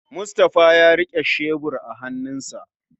Mustapha ya rike shebur a hannunsa